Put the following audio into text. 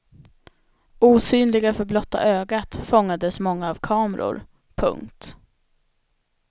Osynliga för blotta ögat fångades många av kameror. punkt